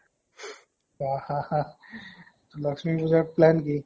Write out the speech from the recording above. হা হা হা লক্ষ্মী পুজাৰ plan কি?